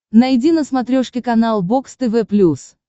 найди на смотрешке канал бокс тв плюс